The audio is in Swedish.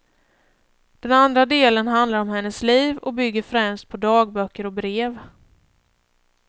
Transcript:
Den andra delen handlar om hennes liv och bygger främst på dagböcker och brev.